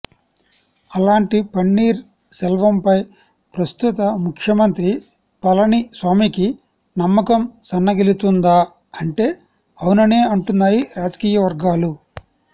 అలాంటి పన్నీర్ సెల్వంపై ప్రస్తుత ముఖ్యమంత్రి పళనిస్వామికి నమ్మకం సన్నగిల్లుతుందా అంటే అవుననే అంటున్నాయి రాజకీయ వర్గాలు